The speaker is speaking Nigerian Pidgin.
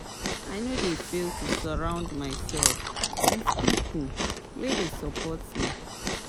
I no dey fail to surround mysef wit pipo wey dey support me.